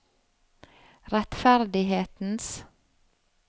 rettferdighetens